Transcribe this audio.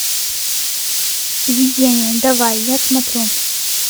видение давай я смотрю